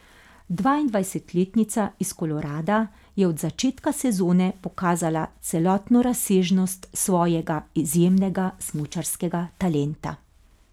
Dvaindvajsetletnica iz Kolorada je od začetka sezone pokazala celotno razsežnost svojega izjemnega smučarskega talenta.